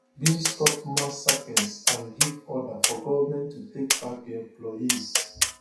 bin stop mass sackings and give order for goment to take back di employees